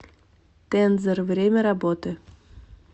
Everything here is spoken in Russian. тензор время работы